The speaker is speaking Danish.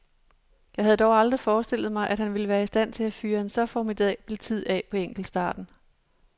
Jeg havde dog aldrig forestillet mig, at han ville være i stand til at fyre en så formidabel tid af på enkeltstarten.